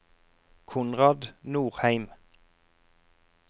Konrad Nordheim